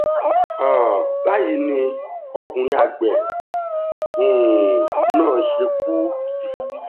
um báyìí ni ọkùnrin àgbẹ̀ um náà ṣe kú ikú gbígbó